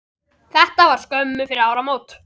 Þetta var skömmu fyrir áramót.